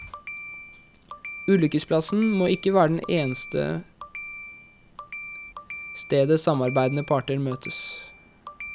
Ulykkesplassen må ikke være det eneste stedet samarbeidende parter møtes.